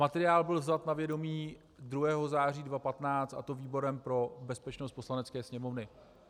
Materiál byl vzat na vědomí 2. září 2015, a to výborem pro bezpečnost Poslanecké sněmovny.